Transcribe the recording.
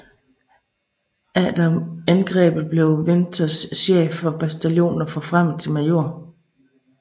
Efter angrebet blev Winters chef for bataljonen og forfremmet til major